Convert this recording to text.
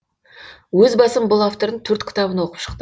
өз басым бұл автордың төрт кітабын оқып шықтым